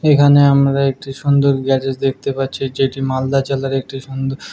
এখানে আমরা একটি সুন্দর গ্যারেজ দেখতে পাচ্ছি যেটি মালদা জেলার একটি সুন্দর ।